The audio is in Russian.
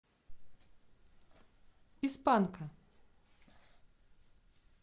из панка